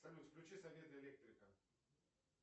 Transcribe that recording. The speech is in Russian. салют включи советы электрика